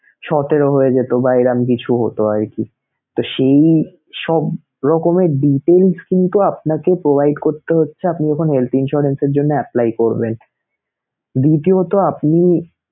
সতেরো হয়ে যেতো বা এরম কিছু হতো আরকি তো সেইসব রকমের details কিন্তু আপনাকে provide করতে হচ্ছে আপনি যখন health insurance এর জন্য apply করবেন দ্বিতীয়ত আপনি